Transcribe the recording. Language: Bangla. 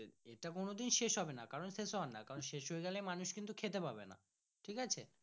এটা কোনো দিন শেষ হবে না কারণ শেষ হয়ে গেলেই মানুষ কিন্তু খেতে পাবে না। ঠিকাছে।